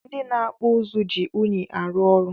Ndi na akpụ ụzụ ji unyi arụ ọrụ.